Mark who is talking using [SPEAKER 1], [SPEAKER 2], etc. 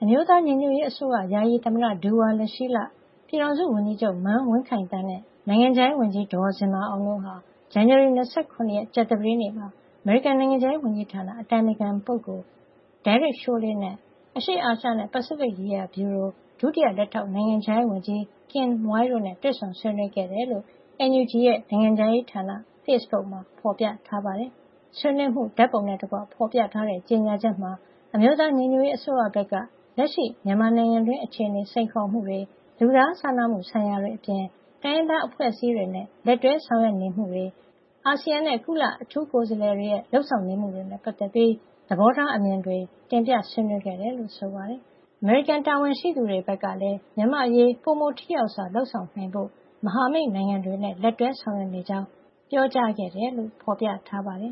[SPEAKER 1] မျိုးသားညီညွတ်ရေးအစိုးရ ယာယီသမ္မတ ဒူဝါလရှီးလ၊ ပြည်ထောင်စုဝန်ကြီးချုပ်မန်းဝင်းခိုင်သန်း နဲ့ နိုင်ငံခြားရေးဝန်ကြီး ဒေါ်ဇင်မာအောင် တို့ဟာ ဇန်နဝါရီလ ၂၇ ရက် ကြာသပတေးနေ့က အမေရိကန်နိုင်ငံခြားရေးဝန်ကြီးဌာန အတိုင်ပင်ခံပုဂ္ဂိုလ် Derek Chollet နဲ့ အရှေ့အာရှနဲ့ ပစိဖိတ်ရေးရာ ဗျူရို ဒုတိယ လက်ထောက် နိုင်ငံခြားရေးဝန်ကြီး Kin Moy တို့နဲ့ တွေ့ဆုံ ဆွေးနွေးခဲ့တယ်လို့ NUG ရဲ့ နိုင်ငံခြားရေးဌာန ဖေ့ဘုတ်မှာဖေါ်ပြထားပါတယ်။ ဆွေးနွေးမှု ဓါတ်ပုံနဲ့တကွ ဖေါ်ပြထားတဲ့ ကြေညာချက်မှာ အမျိုးသားညီညွတ်ရေးအစိုးရဘက်က လက်ရှိ မြန်မာနိုင်ငံတွင်း အခြေနေ စိန်ခေါ်မှုတွေ၊ လူသားချင်းစာနာမှု ဆိုင်ရာတွေအပြင် တိုင်းရင်းသား အဖွဲ့အစည်းတွေနဲ့ လက်တွဲ ဆောင်ရွက်နေမှုတွေ၊ အာဆီယံနဲ့ ကုလအထူးကိုယ်စားးလှယ်တွေရဲ့ လုပ်ဆောင်နေမှုတွေနဲ့ ပတ်သက်ပြီး သဘောထား အမြင်တွ တင်ပြဆွေးနွေးခဲ့တယ်လို့ ဆိုပါတယ်။ အမေရိကန်တာဝန်ရှိသူတွေ ဘက်ကလည်း မြန်မာ့အရေး ပိုမိုထိရောက်စွာ လုပ်ဆောင်နိုင်ဖို့ မဟာမိတ်နိုင်ငံတွေနဲ့လက်တွဲဆောင်ရွက်နေကြောင်း ပြောကြားခဲ့တယ်လို့ ဖေါ်ပြထားပါတယ်